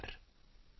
एकै माती के सभ भांडे